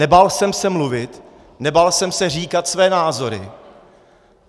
Nebál jsem se mluvit, nebál jsem se říkat své názory.